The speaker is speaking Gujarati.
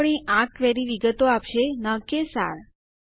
અને આપણી આ ક્વેરી વિગતો આપશે ન કે સાર